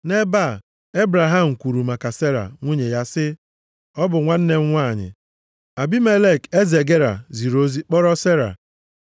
Nʼebe ahụ, Ebraham kwuru maka Sera, nwunye ya, sị “Ọ bụ nwanne m nwanyị.” Abimelek, eze Gera, ziri ozi kpọrọ Sera.